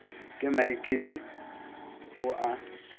ke maikemi et o a